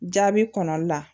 Jaabi kɔnɔli la